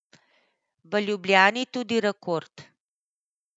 V Ljubljani tudi rekord.